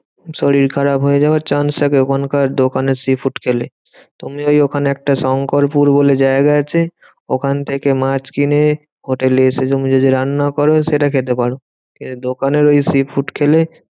শরীর খারাপ হয়ে যাওয়ার chance থাকে ওখানকার দোকানের sea food খেলে। তুমি ওই ওখানে একটা শংকরপুর বলে জায়গা আছে, ওখান থেকে মাছ কিনে হোটেলে এসে তুমি যদি রান্না করো সেটা খেতে পারো। কিন্তু দোকানের ওই sea food খেলে